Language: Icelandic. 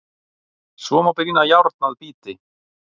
Svo má brýna járn að bíti.